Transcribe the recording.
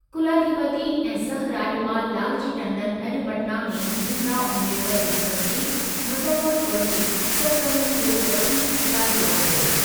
कुलाधिपति ऐं सह-राज॒पाल लालजी टंडन अॼु पटना में भीमराव अम्बेडकर यूनिवर्सिटी, मुज़फ़रपुर जी सरगर्मियुनि जो वसीउ जाइज़ो वरितो।